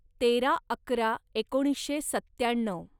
तेरा अकरा एकोणीसशे सत्त्याण्णव